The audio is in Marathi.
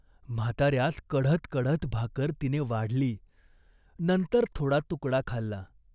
म्हाताऱ्यास कढत कढत भाकर तिने वाढली. नंतर थोडा तुकडा खाल्ला.